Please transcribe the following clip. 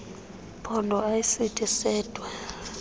phondo ayisithi sedwa